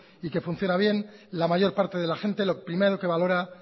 y que funciona bien la mayor parte de la gente lo primero que valora